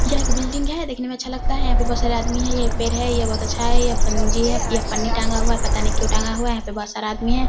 यह एक बिल्डिंग है देखने में बहुत अच्छा लगता है यहां पर बहुत सारा आदमी है ये पेड़ हैं ये बहुत अच्छा है ये पंजी है यह पन्नी टांगा हुआ है पता नहीं क्यों टांगा हुआ है यहां पर बहुत सारा आदमी है।